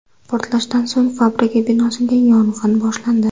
Portlashdan so‘ng fabrika binosida yong‘in boshlandi.